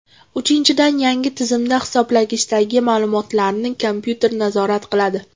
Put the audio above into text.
Uchinchidan, yangi tizimda hisoblagichdagi ma’lumotlarni kompyuter nazorat qiladi.